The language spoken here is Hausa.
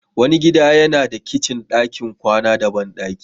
Wani gida yana da kicin, ɗakin kwana da bandaki.